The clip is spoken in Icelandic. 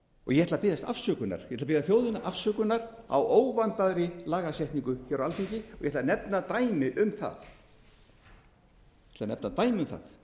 ég ætla að biðja þjóðina afsökunar á óvandaðri lagasetningu á alþingi og ég ætla að nefna dæmi um það ég ætla